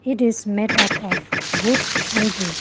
it is made up of wood and bricks.